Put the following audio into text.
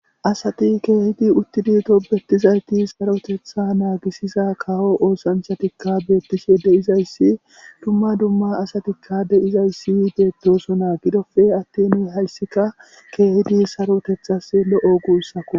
Asati kehidi utidi tobetizayti kawo keththa nagisiza kawo oosanchchatikka betishshe de'izayssi dumma dumma asatikka de'izayssi betosona gidoppe atin hayisikka kehidi saroteththas lo'o gusukko